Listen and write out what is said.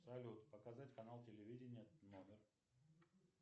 салют показать канал телевидения номер